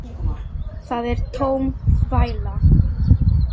Það er tóm þvæla.